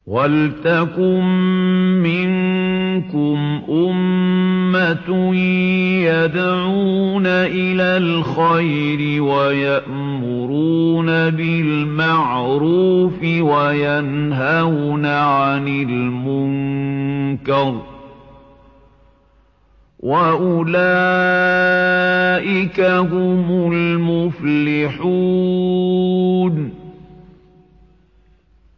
وَلْتَكُن مِّنكُمْ أُمَّةٌ يَدْعُونَ إِلَى الْخَيْرِ وَيَأْمُرُونَ بِالْمَعْرُوفِ وَيَنْهَوْنَ عَنِ الْمُنكَرِ ۚ وَأُولَٰئِكَ هُمُ الْمُفْلِحُونَ